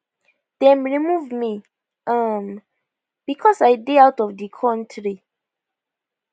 dem remove me um becos i dey out of di kontri